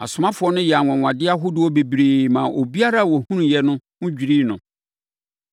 Asomafoɔ no yɛɛ anwanwadeɛ ahodoɔ bebree maa obiara a ɔhunuiɛ no ho dwirii no.